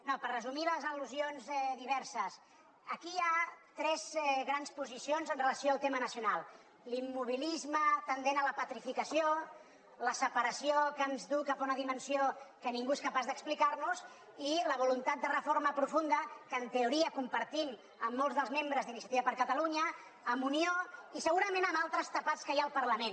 no per resumir les al·lusions diverses aquí hi ha tres grans posicions amb relació al tema nacional l’immobilisme tendent a la petrificació la separació que ens du cap a una dimensió que ningú és capaç d’explicarnos i la voluntat de reforma profunda que en teoria compartim amb molts dels membres d’iniciativa per catalunya amb unió i segurament amb altres tapats que hi ha al parlament